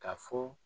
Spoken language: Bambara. Ka fɔ